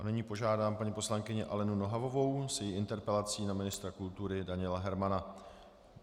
A nyní požádám paní poslankyni Alenu Nohavovou s její interpelací na ministra kultury Daniela Hermana.